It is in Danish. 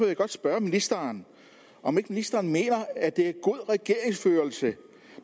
jeg godt spørge ministeren om ikke ministeren mener at det er udtryk god regeringsførelse